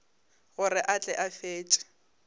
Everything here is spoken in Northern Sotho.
gore a tle a fetše